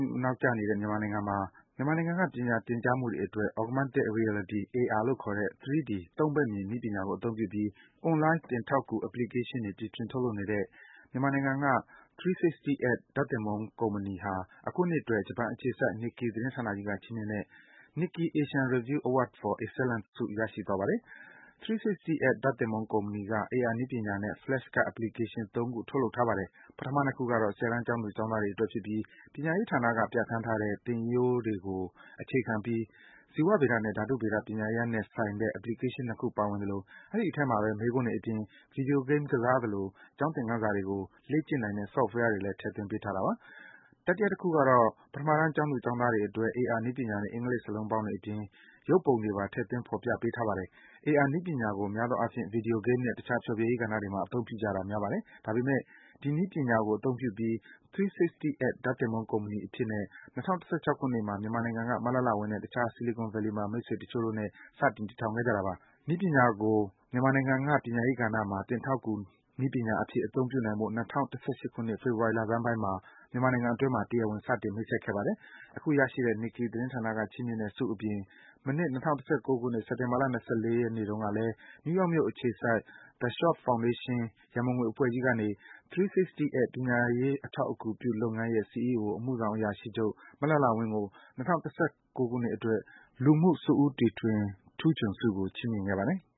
ှု နောက်ကျနေတဲ့ မြန်မာနိုင်ငံမှာ မြန်မာနိုင်ငံက ပညာသင်ကြားသူတွေအတွက် Augmented Reality (AR) လို့ခေါ်တဲ့ 3D ၃ ဘက်မြင် နည်းပညာကို အသုံးပြုပြီး အွန်လိုင်း သင်ထောက်ကူ Application တွေ တီထွင် ထုတ်လုပ်နေတဲ့ မြန်မာနိုင်ငံက 360ed ဓါတ်သင်ပုန်းကုမ္ပဏီဟာ အခုနှစ်အတွက် ဂျပန်အခြေစိုက် Nikkei သတင်းဌာနကြီးက ချီးမြင့်တဲ့ Nikkei Asian Review Award for Excellence ဆု ရရှိသွားပါတယ်။ 360ed ဓါတ်သင်ပုန်းကုမ္ပဏီက AR နည်းပညာနဲ့ Flashcard Application ၃ ခု ထုတ်လုပ်ထားပါတယ်။ ပထမ ၂ ခုကတော့ ၁၀ တန်း ကျောင်းသူ၊ ကျောင်းသားတွေအတွက်ဖြစ်ပြီး ပညာရေးဌာနက ပြဌာန်းထားတဲ့ သင်ရိုးတွေကိုအခြေခံပြီး ဇီဝဗေဒနဲ့ ဓါတုဗေဒ ပညာရပ်နဲ့ဆိုင်တဲ့ Application ၂ ခု ပါဝင်သလို၊ အဲဒီအထဲမှာဘဲ မေးခွန်းတွေအပြင် Video Game ကစားသလို ကျောင်းသင်္ခန်းစာတွေကို လေ့ကျင်နိုင်တဲ့ Software တွေလည်း ထည့်သွင်း ပေးထားတာပါ။ တတိယတခုကတော့ ပထမတန်း ကျောင်းသူ၊ ကျောင်းသားတွေအတွက် AR နည်းပညာနဲ့ အင်္ဂလိပ်စာလုံးပေါင်းတွေအပြင် ရုပ်ပုံတွေပါ ထည့်ပေးထားတယ်လို့ ဆိုပါတယ်။ AR နည်းပညာကို များသောအားဖြင့် Video Game နဲ့ တခြား ဖျော်ဖြေရေးကဏ္ဍတွေမှာ အသုံးပြုတာများပါတယ်။ ဒါပေမယ့် ဒီနည်းပညာကို အသုံးပြုပြီး 360ed ဓါတ်သင်ပုန်းကုမ္ပဏီအဖြစ်နဲ့ ၂၀၁၆ ခုနှစ်မှာ မြန်မာနိုင်ငံက မလှလှဝင်းနဲ့ တခြား Silicon Valley မှာ မိတ်ဆွေတချို့နဲ့ စတင် ထည်ထောင်ခဲ့တာပါ။ ဒီနည်းပညာကို မြန်မာနိုင်ငံက ပညာရေးကဏ္ဍမှာ သင်ထောက်ကူနည်းပညာအဖြစ် အသုံးပြုနိုင်ဖို့ ၂၀၁၈ ခုနှစ် ဖေဖော်ဝါရီလဆန်းပိုင်းမှာ တရားဝင် စတင်မိတ်ဆက်ခဲ့ပါတယ်။ အခု ရရှိတဲ့ Nikkei သတင်းဌာနကချီးမြင့်တဲ့ဆုအပြင် မနှစ် ၂၀၁၉ ခုနှစ်၊ စက်တင်ဘာလ ၂၄ ရက်နေ့တုန်းကလည်း နယူးယောက်မြို့ အခြေစိုက် The Schwab Foundation ရန်ပုံငွေအဖွဲ့ကြီးကနေ 360ed ပညာရေးအထောက်အကူပြုလုပ်ငန်းရဲ့ CEO အမှုဆောင်အရာရှိချုပ် မလှလှဝင်းကို ၂၀၁၉ ခုနှစ်အတွက် လူမှု-စွန့်ဦးတီထွင်ထူးချွန်ဆုကို ချီးမြင့်ခဲ့ပါတယ်။